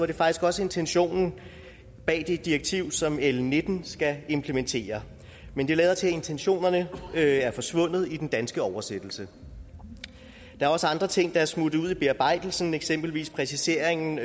det faktisk også intentionen bag det direktiv som l nitten skal implementere men det lader til at intentionerne er forsvundet i den danske oversættelse der er også andre ting der er smuttet ud i bearbejdelsen eksempelvis præciseringen